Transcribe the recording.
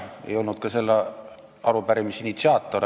Ma ei olnud ka selle arupärimise initsiaator.